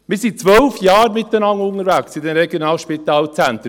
Wir sind in den Regionalspitalzentren zwölf Jahre miteinander unterwegs.